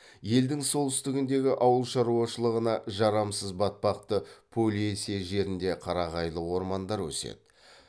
елдің солтүстігіндегі ауыл шаруашылығына жарамсыз батпақты полесье жерінде қарағайлы ормандар өседі